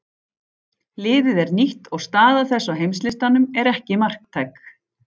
Liðið er nýtt og staða þess á heimslistanum er ekki marktæk.